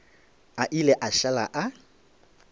a ile a šala a